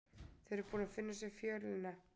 Þau eru búin að finna fjölina sína.